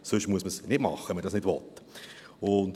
Sonst muss man es nicht machen, wenn man das nicht will.